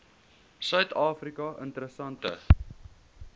suid afrika interessante